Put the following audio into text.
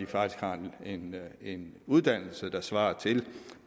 faktisk har en en uddannelse der svarer til det